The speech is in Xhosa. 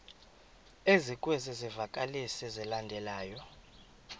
ezikwezi zivakalisi zilandelayo